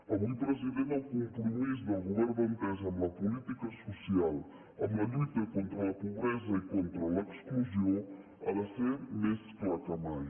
avui president el compromís del govern d’entesa amb la política social amb la lluita contra la pobresa i contra l’exclusió ha de ser més clar que mai